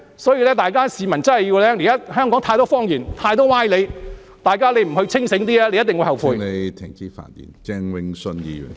所以，市民要看清楚，現在香港太多謊言、太多歪理，大家如果不保持清醒，便一定會後悔。